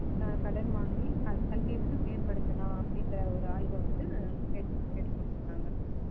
ஆஹ் கடன் வாங்கி கல்~ கல்வியை வந்து மேம்படுத்தலாம் அப்படின்ற ஒரு ஆய்வை வந்து மேற்~ மேற்கொண்டிருக்காங்க